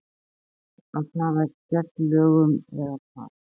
Jafnvel að fara gegn lögum eða hvað?